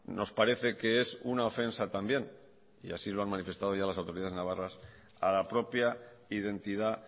nos parece que es una ofensa también y así se lo han manifestado ya las autoridades navarras a la propia identidad